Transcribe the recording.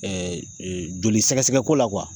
jolisɛgɛsɛgɛko la